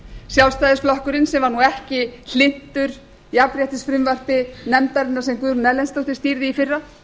sjálfstæðisflokkurinn sem var nú ekki hlynntur jafnréttisfrumvarpi nefndarinnar sem guðrún erlendsdóttir stýrði í fyrra